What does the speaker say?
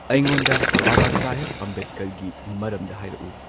ꯑꯩꯉꯣꯟꯗ ꯕꯕꯥꯁꯥꯍꯦꯕ ꯑꯝꯕꯦꯗꯀꯔꯒꯤ ꯃꯔꯝꯗ ꯍꯥꯏꯔꯛꯎ꯫